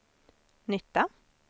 nytta